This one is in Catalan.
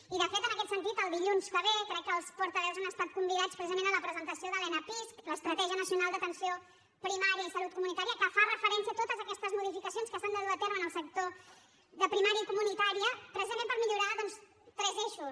i de fet en aquest sentit el dilluns que ve crec que els portaveus han estat convidats precisament a la presentació de l’enapisc estratègia nacional d’atenció primària i salut comunitària que fa referència a totes aquestes modificacions que s’han de dur a terme en el sector de primària i comunitària precisament per millorar doncs tres eixos